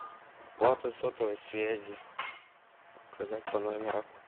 оплата сотовой связи указать по номеру